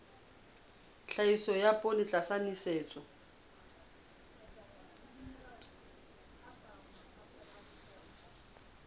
tlhahiso ya poone tlasa nosetso